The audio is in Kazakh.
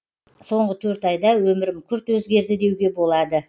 соңғы төрт айда өмірім күрт өзгерді деуге болады